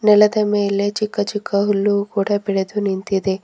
ನೆಲದ ಮೇಲೆ ಚಿಕ್ಕ ಚಿಕ್ಕ ಹುಲ್ಲು ಕೂಡ ಬೆಳೆದುನಿಂತಿದೆ.